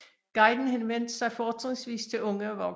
Guiden henvendte sig fortrinsvis til unge og voksne